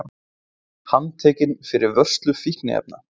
Handtekinn fyrir vörslu fíkniefna